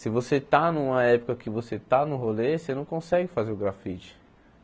Se você está numa época que você está no rolê, você não consegue fazer o grafite.